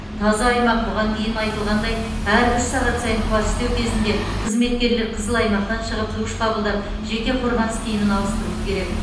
таза аймақ бұған дейін айтылғандай әр үш сағат сайын кварцтеу кезінде қызметкерлер қызыл аймақтан шығып душ қабылдап жеке қорғаныс киімін ауыстыруы керек